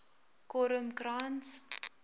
kormkrans